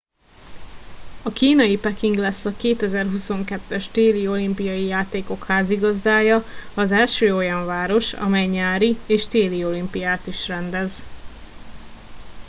a kínai peking lesz a 2022 es téli olimpiai játékok házigazdája az első olyan város amely nyári és téli olimpiát is rendez